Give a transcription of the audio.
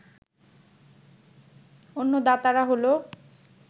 অন্য দাতারা হলো